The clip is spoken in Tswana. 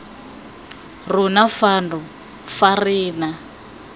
rona fano fa re na